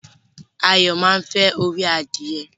Ayo máa nfẹ orí adìye.